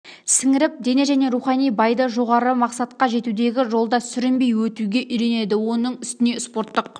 сіңіріп дене және рухани баиды жоғары мақсатқа жетудегі жолда сүрінбей өтуге үйренеді оның үстіне спорттық